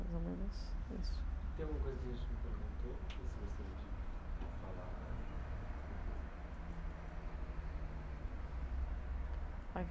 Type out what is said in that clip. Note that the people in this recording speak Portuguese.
mais o menos isso. Tem alguma coisa que a gente não perguntou ou que você gostaria de falar?